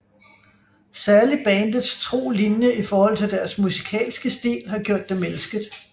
Særligt bandets tro linje i forhold til deres musikalske stil har gjort dem elsket